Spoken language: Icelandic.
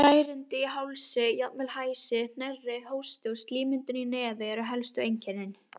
Særindi í hálsi, jafnvel hæsi, hnerri, hósti og slímmyndun í nefi eru elstu einkennin.